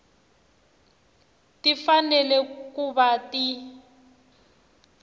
ti fanele ku va ti